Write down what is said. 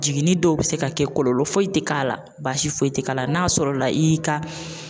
Jiginin dɔw be se ka kɛ kɔlɔlɔ foyi te k'a la baasi foyi te k'a la n'a sɔrɔla i y'i ka